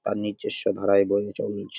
নিজস্ব ধারায় বয়ে চলছে।